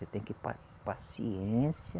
Você tem que pa paciência.